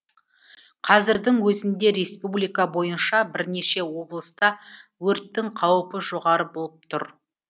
қазірдің өзінде республика бойынша бірнеше облыста өрттің қауіпі жоғары болып тұр